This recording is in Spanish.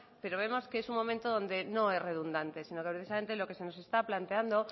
pero vemos que es un momento donde no es redundante sino que precisamente lo que se nos está planteando